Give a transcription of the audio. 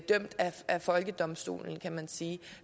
folkedomstolen kan man sige